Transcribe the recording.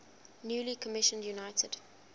newly commissioned united